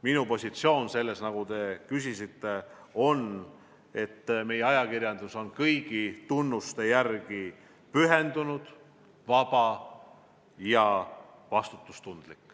Minu positsioon on, et meie ajakirjandus on kõigi tunnuste järgi pühendunud, vaba ja vastutustundlik.